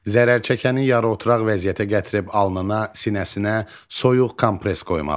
Zərərçəkəni yarı oturaq vəziyyətə gətirib alnına, sinəsinə soyuq kompress qoymalı.